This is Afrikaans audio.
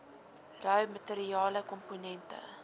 rou materiale komponente